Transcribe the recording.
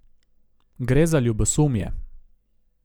Gre za ljubosumje.